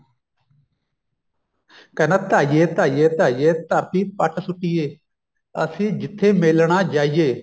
ਕਹਿੰਦਾ ਤਾਈਏ ਤਾਈਏ ਤਾਈਏ ਧਰਤੀ ਪੱਟ ਸੁੱਟੀਏ ਅਸੀਂ ਜਿੱਥੇ ਮੇਲਣਾ ਜਾਈਏ